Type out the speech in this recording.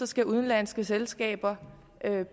skal udenlandske selskaber